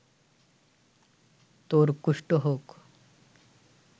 তোর কুষ্ঠ হোক